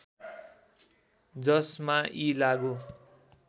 जसमा यी लागू